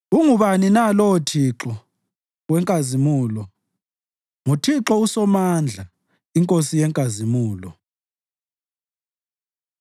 Ungubani na lowo Thixo wenkazimulo? NguThixo uSomandla iNkosi yenkazimulo.